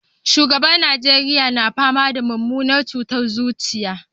Shugaban na Najeriya na fama da mummunar cutar zuciya